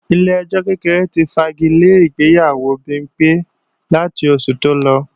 Ilé ẹjọ́ kékeré ti fagilé ìgbéyàwó Bimpé láti oṣù tó lọ